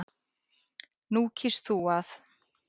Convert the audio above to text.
Nú kýst þú að.